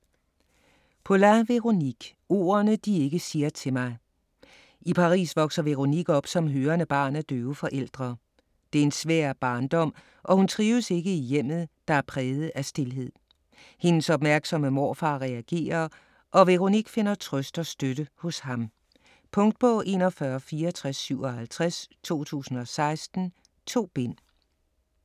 Poulain, Véronique: Ordene de ikke siger til mig I Paris vokser Véronique op som hørende barn af døve forældre. Det er en svær barndom og hun trives ikke i hjemmet, der er præget af stilhed. Hendes opmærksomme morfar reagerer, og Véronique finder trøst og støtte hos ham. Punktbog 416457 2016. 2 bind.